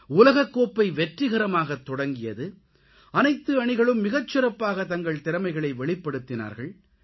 உலகக்கோப்பை வெற்றிகரமாகத் தொடங்கியது அனைத்து அணிகளும் மிகச் சிறப்பாகத் தங்கள் திறமைகளை வெளிப்படுத்தினார்கள்